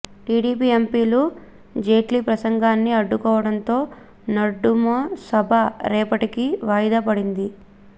TDP ఎంపీలు జైట్లీ ప్రసంగాన్ని అడ్డుకోవడంతో నడుమ సభ రేపటికి వాయిదా పడింది